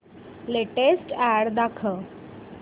latest ad दाखव